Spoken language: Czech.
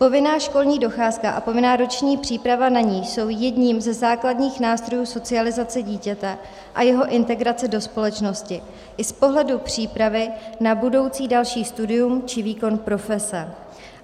Povinná školní docházka a povinná roční příprava na ni jsou jedním ze základních nástrojů socializace dítěte a jeho integrace do společnosti i z pohledu přípravy na budoucí další studium či výkon profese.